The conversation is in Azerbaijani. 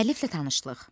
Müəlliflə tanışlıq.